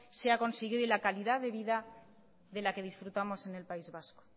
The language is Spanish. se ha conseguido y la calidad de vida de la que disfrutamos en el país vasco